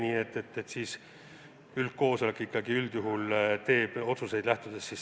Nii et siis üldkoosolek ikkagi üldjuhul teeb otsuseid.